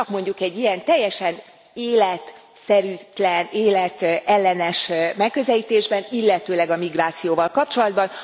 Csak mondjuk egy ilyen teljesen életszerűtlen, életellenes megközelítésben, illetőleg a migrációval kapcsolatban.